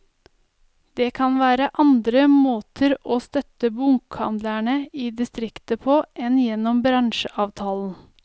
Det kan være andre måter å støtte bokhandlene i distriktet på enn gjennom bransjeavtalen.